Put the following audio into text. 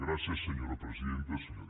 gràcies senyora presidenta senyor diputat